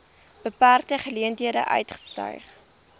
beperkte geleenthede uitgestyg